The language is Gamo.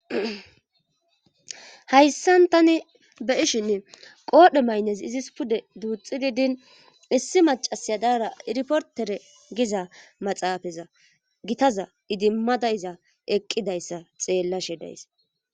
hayssan tani be ishinn qoodhe maynes izis pude duuxxi didin issi macasyadaara iriportere giza maxaafaza gitaza idimmadayza eqqidayssa xeellashe days